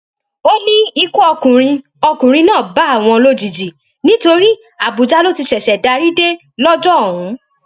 ó ní ikú ọkùnrin ọkùnrin náà bá àwọn lójijì nítorí àbújá ló ti ṣẹṣẹ darí dé lọjọ ọhún